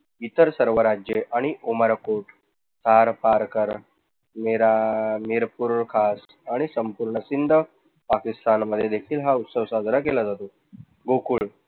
इतर सर्व राज्य आणि आणि संपूर्ण सिंध पाकिस्तान मध्ये देखील हा उत्सव साजरा केला जातो. गोकुळ